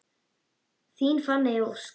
Þín Fanney Ósk.